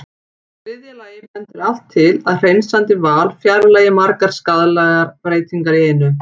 Í þriðja lagi bendir allt til að hreinsandi val fjarlægi margar skaðlegar breytingar í einu.